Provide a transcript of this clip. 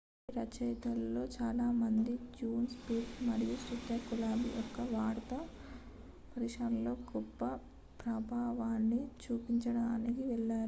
వారి రచయితలలో చాలామంది జాన్ స్టీవర్ట్ మరియు స్టీఫెన్ కోల్బర్ట్ యొక్క వార్తా హాస్య ప్రదర్శనలపై గొప్ప ప్రభావాన్ని చూపడానికి వెళ్ళారు